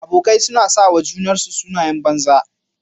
Abokai suna sawa junansu sunayen banza.